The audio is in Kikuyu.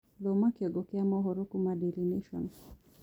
Thoma kĩongo kĩa mohoro kuma daily nation